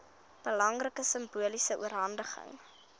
belangrike simboliese oorhandiging